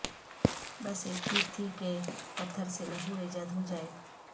بس اک ضد تھی کہ پتھر سے لہو ایجاد ہوجائے